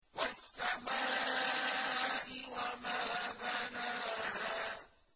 وَالسَّمَاءِ وَمَا بَنَاهَا